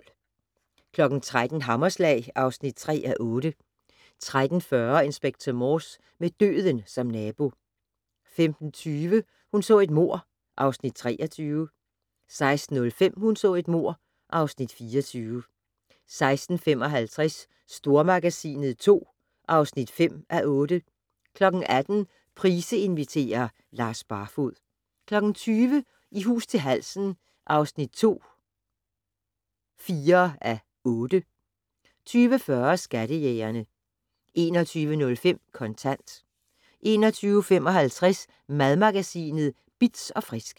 13:00: Hammerslag (3:8) 13:40: Inspector Morse: Med døden som nabo 15:20: Hun så et mord (Afs. 23) 16:05: Hun så et mord (Afs. 24) 16:55: Stormagasinet II (5:8) 18:00: Price inviterer - Lars Barfoed 20:00: I hus til halsen II (4:8) 20:40: Skattejægerne 21:05: Kontant 21:55: Madmagasinet Bitz & Frisk